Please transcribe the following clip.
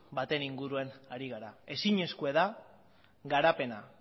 baten inguruan ari gara ezinezkoa da garapena